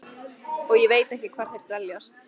Og ég veit ekki hvar þeir dveljast.